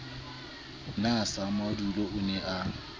na samadula o ne a